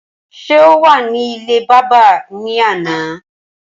Ṣé o wà ní ilé bábà ní àná?